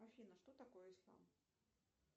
афина что такое ислам